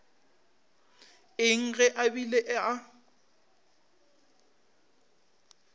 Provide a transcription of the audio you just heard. eng ge a bile a